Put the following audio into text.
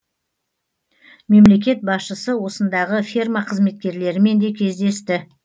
мемлекет басшысы осындағы ферма қызметкерлерімен де кездесті